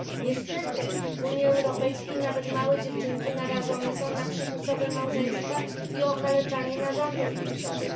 Niestety w Unii Europejskiej nawet małe dziewczynki narażone są na przymusowe małżeństwa i okaleczanie narządów płciowych.